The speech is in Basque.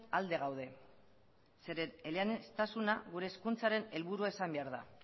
alde gaude zeren eleaniztasuna gure hezkuntzaren helburua izan behar da